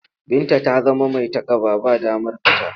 Binta ta zama mai takaba. Ba damar fita.